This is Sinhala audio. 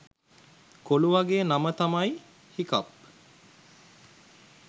කොළුවගේ නම තමයි හිකප්